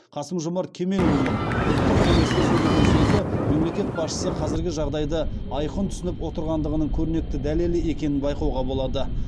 қасым жомарт кемелұлының ұлттық кеңесте сөйлеген сөзі мемлекет басшысы қазіргі жағдайды айқын түсініп отырғандығының көрнекті дәлелі екенін байқауға болады